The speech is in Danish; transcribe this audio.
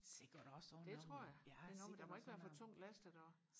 det tror jeg det er noget med den må ikke være for tungt lastet og